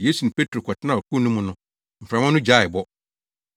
Yesu ne Petro kɔtenaa ɔkorow no mu no, mframa no gyaee bɔ.